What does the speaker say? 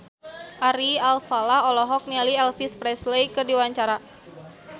Ari Alfalah olohok ningali Elvis Presley keur diwawancara